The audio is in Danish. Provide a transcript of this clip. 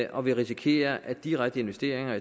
og vi risikerer at direkte investeringer